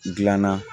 Gilanna